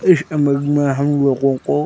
इस इमेज में हम लोगों को --